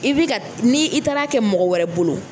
I bɛ ka ni i taar'a kɛ mɔgɔ wɛrɛ bolo